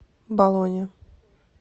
болонья